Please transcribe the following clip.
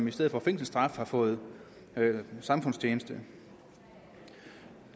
i stedet for fængselsstraf fået samfundstjeneste